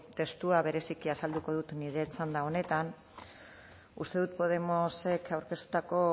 testua bereziki azalduko dut nire txanda honetan uste dut podemosek aurkeztutako